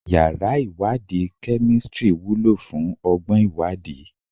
Yàrá ìwádìí kemistri wúlò fún ọgbọ́n ìwádìí